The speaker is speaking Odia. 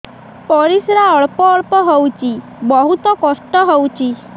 ପରିଶ୍ରା ଅଳ୍ପ ଅଳ୍ପ ହଉଚି ବହୁତ କଷ୍ଟ ହଉଚି